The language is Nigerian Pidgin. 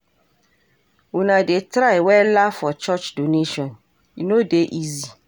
Una dey try wella for church donation, e no dey easy.